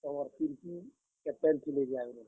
ତୁମର୍ ତୀର୍କି, captain ଥିଲେ ଯେ ଆଘରୁ।